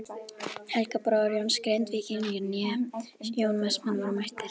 Helgi bróðir Jóns Grindvíkings né Jón Vestmann voru mættir.